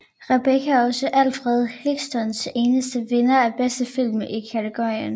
Rebecca er også Alfred Hitchcocks eneste vinder af bedste film kategorien